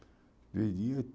Três dias?